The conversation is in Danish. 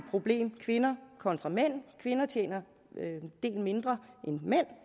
problem kvinder kontra mænd da kvinder tjener en del mindre end mænd